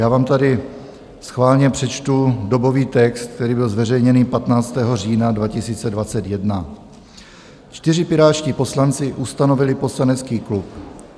Já vám tady schválně přečtu dobový text, který byl zveřejněný 15. října 2021: "Čtyři pirátští poslanci ustanovili poslanecký klub.